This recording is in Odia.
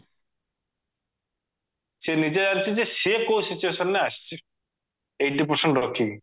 ସେ ନିଜେ ଜାଣିଛି ଯେ ସେ କଉ situation ରେ ଆସିଛି eighty percent ରଖିକି